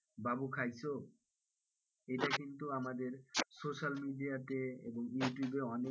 বাবু খাইছো এটা কিন্তু আমাদের social media তে এবং ইউটিউবে অনেক,